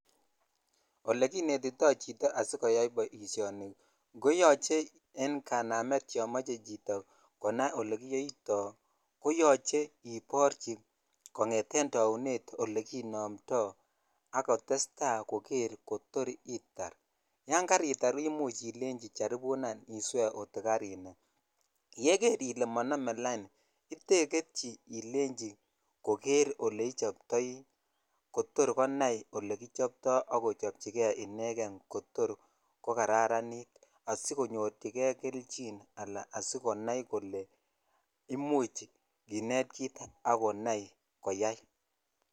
Olekinetitoi chito asikoyai boisioni ko yoche en janamet yon moche chito konai olekiyoito koyoche iporchi kongeten taunet olekinomtoi ak kotesetai koker kotor itar yan karitar imuch ilei charibunan iswee kot kokarinai yeker ile monome laini iteiketyi ilechi koker oleichobtoi kotor konai kole kichobtoi ak kochobchi kei inekenkotor kokararanit asikonyorchikei kelyin ala asikonai kole imuch kinet kit akonai koyai.